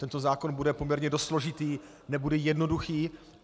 Tento zákon bude poměrně dost složitý, nebude jednoduchý.